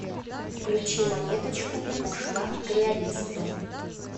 включи монеточку ушла к реалисту